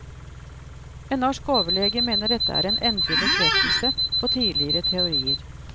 En norsk overlege mener dette er en endelig bekreftelse på tidligere teorier.